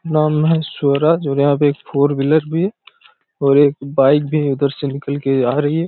नाम है स्वराज और यहाँ पे एक फोर व्हीलर भी है और एक बाइक भी उधर से निकल के आ रही है।